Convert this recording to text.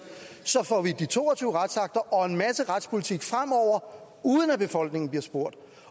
så får vi de to og tyve retsakter og en masse retspolitik fremover uden at befolkningen bliver spurgt